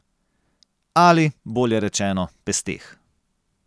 Ali, bolje rečeno, pesteh.